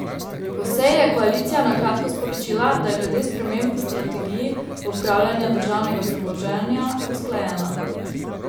Po seji je koalicija na kratko sporočila, da je glede sprememb v strategiji upravljanja državnega premoženja usklajena.